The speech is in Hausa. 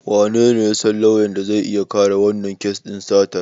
Wanene ya san lauyan da zai iya kare wannan kes din satar?